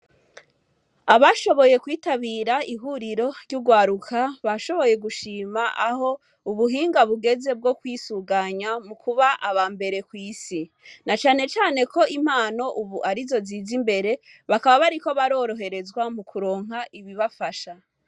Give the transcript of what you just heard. Abashoboye kwitabira ihuriro ry'urwaruka, bashoboye gushima aho ubuhinga bugeze mu kwisuganya, mu kuba abambere kw'isi. Na canecane ko impano ubu ari zo ziza imbere, bakaba bariko baroroherezwa mukuronka ibibafasha.